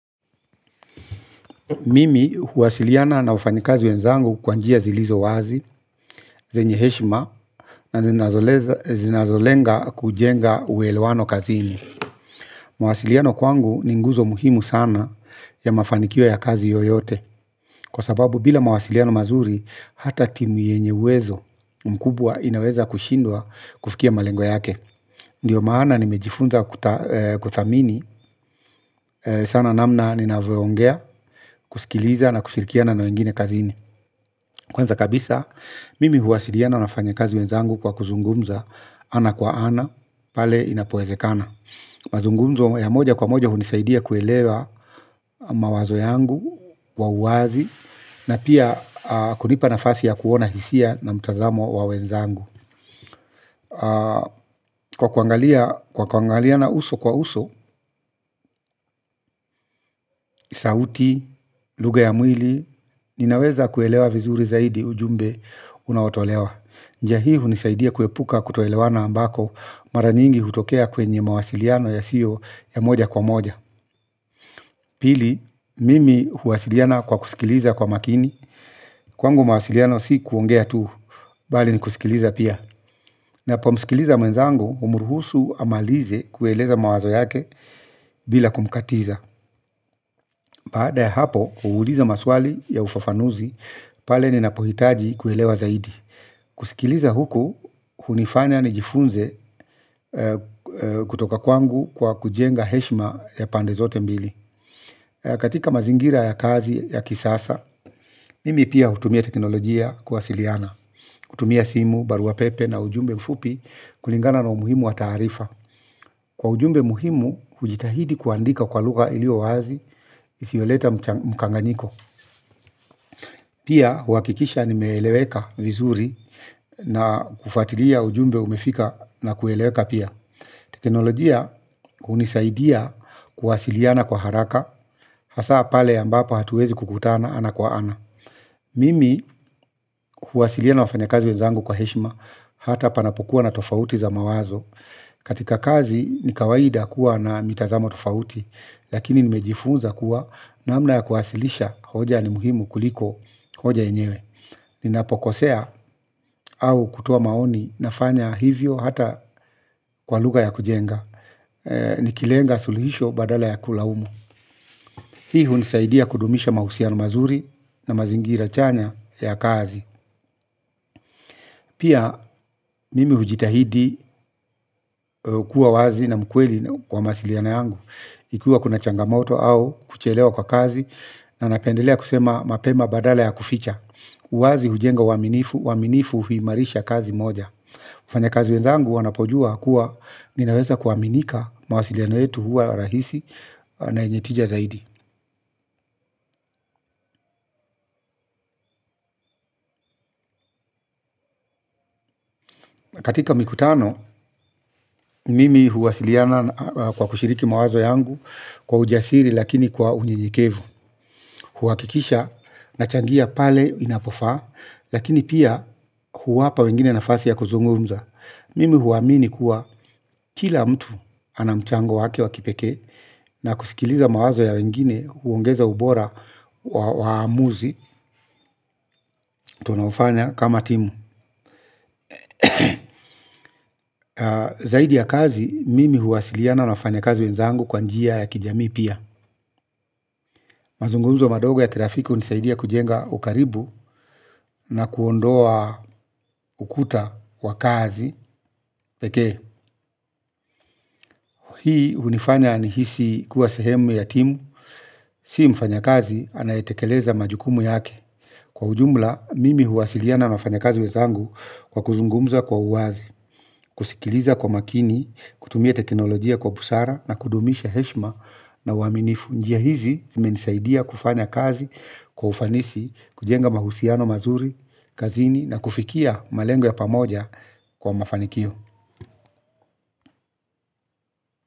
Mimi huwasiliana na wafanikazi wenzangu kwa njia zilizo wazi zenye heshima na zinazolenga kujenga uelewano kazini. Mawasiliano kwangu ni nguzo muhimu sana ya mafanikio ya kazi yoyote. Kwa sababu bila mwasiliano mazuri hata timu yenye uwezo mkubwa inaweza kushindwaa kufikia malengo yake. Ndio maana nimejifunza kuthamini sana namna ninavyo ongea kusikiliza na kushirikia na wengine kazini. Kwanza kabisa, mimi huwasiliana na wafanyakazi wenzangu kwa kuzungumza, ana kwa ana, pale inapowezekana. Mazungumzo ya moja kwa moja hunisaidia kuelewa mawazo yangu, kwa uwazi, na pia kunipa nafasi ya kuona hisia na mtazamo wa wenzangu. Kwa kuangaliana uso kwa uso, sauti, lugha ya mwili, ninaweza kuelewa vizuri zaidi ujumbe unaotolewa. Njia hii hunisaidia kuepuka kutoelewana ambako mara nyingi hutokea kwenye mawasiliano ya siyo ya moja kwa moja. Pili, mimi huwasiliana kwa kusikiliza kwa makini. Kwangu mawasiliano si kuongea tu, bali ni kusikiliza pia. Napo msikiliza mwenzangu humuruhusu amalize kueleza mawazo yake bila kumkatiza. Baada ya hapo, huuliza maswali ya ufafanuzi pale ninapohitaji kuelewa zaidi. Kusikiliza huku, hunifanya ni jifunze kutoka kwangu kwa kujenga heshima ya pande zote mbili. Katika mazingira ya kazi ya kisasa, mimi pia hutumia teknolojia kuwasiliana. Hutumia simu, baruapepe na ujumbe mfupi kulingana na umuhimu wa taarifa. Kwa ujumbe muhimu, hujitahidi kuandika kwa lugha iliyo wazi, isioleta mkanganyiko. Pia huakikisha nime eleweka vizuri na kufatilia ujumbe umefika na kueleweka pia. Teknolojia hunisaidia kuwasiliana kwa haraka, hasa pale ambapo hatuwezi kukutana ana kwa ana. Mimi kuwasiliana wafanya kazi wenzangu kwa heshima hata panapokuwa na tofauti za mawazo. Katika kazi nikawaida kuwa na mitazamo tofauti, lakini nimejifunza kuwa namna ya kuwasilisha hoja ni muhimu kuliko hoja yenyewe. Ninapokosea au kutoa maoni nafanya hivyo hata kwa lugha ya kujenga. Nikilenga suluhisho badala ya kulaumu. Hi ihunisaidia kudumisha mahusiano mazuri na mazingira chanya ya kazi. Pia mimi hujitahidi kuwa wazi na mkweli kwa mawasiliano yangu ikiwa kuna changamoto au kuchelewa kwa kazi. Na napendelea kusema mapema badala ya kuficha. Uwazi hujenga uwaminifu, uwaminifu huimarisha kazi moja wafanya kazi wenzangu wanapojua kuwa ninaweza kuaminika mawasiliano yetu huwa rahisi na yenye tija zaidi. Katika mikutano, mimi huwasiliana kwa kushiriki mawazo yangu kwa ujasiri lakini kwa unyenyekevu. Huwakikisha na changia pale inapofa, lakini pia huwapa wengine nafasi ya kuzungumza. Mimi huamini kuwa kila mtu anamchango wake wakipeke na kusikiliza mawazo ya wengine huongeza ubora wa waamuzi tunao fanya kama timu. Zaidi ya kazi, mimi huwasiliana na wafanya kazi wenzangu kwa njia ya kijamii pia. Mazunguzo madogo ya kirafiki hunisaidia kujenga ukaribu na kuondoa ukuta wa kazi. Peke, hii hunifanya ni hisi kuwa sehemu ya timu, si mfanya kazi anayetekeleza majukumu yake. Kwa ujumla, mimi huwasiliana na wafanya kazi wezangu kwa kuzungumza kwa uwazi, kusikiliza kwa makini, kutumia teknolojia kwa busara na kudumisha heshima na uaminifu. Njia hizi zimenisaidia kufanya kazi kwa ufanisi, kujenga mahusiano mazuri, kazini na kufikia malengo ya pamoja kwa mafanikio.